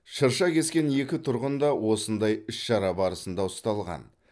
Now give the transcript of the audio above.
шырша кескен екі тұрғын да осындай іс шара барысында ұсталған